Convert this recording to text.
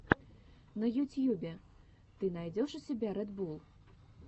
на ютьюбе ты найдешь у себя ред булл